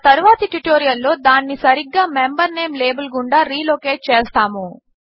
మన తరువాతి ట్యుటోరియల్ లో దానిని సరిగ్గా మెంబర్ నేమ్ లాబెల్ గుండా రీలొకేట్ చేస్తాము